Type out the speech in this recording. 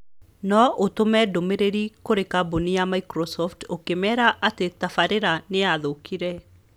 no ũtũme ndũmĩrĩri kũrĩ kambũni ya Microsoft ũkĩmera atĩ tabarīra nĩ yathũkire.